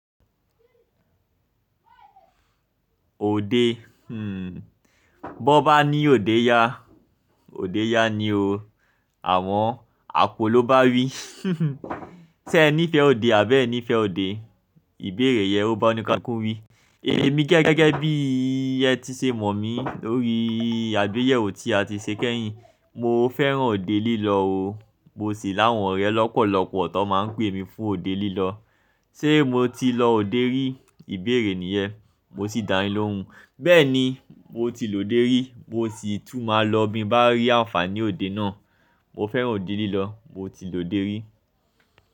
Òde. Hmm. Bó bá ní òde ya, òde ya ni o. Àmọ àpò ló bá wí. Ṣé ẹ nífẹ̀ẹ́ òde àbí ẹ nífẹ̀ẹ́ òde? Ìbéèrè yẹn ó bá ọnìkàn kú wí. Èmi gẹ́gẹ́ bí ẹ ti ṣe mọ̀ mí lórí àgbéyẹ̀wò tí a ti ṣe kẹ́yìn. Mo fẹ́ràn òde lílọ o. Mo sì láwọn ọ̀rẹ́ lọ́pọ̀lọpọ̀ tó máa ń pè mí fún òde lílọ. Ṣé mo ti lọ òde rí? Ìbéèrè nìyẹn. Mo sì dá yìn lohùn. Bẹ́ẹ̀ni, mo ti lòde rí. Mo sì tún máa lọ bí mo bá rí àǹfààní òde náà. Mo fẹ́ràn òde lílọ. Mo ti lòde rí.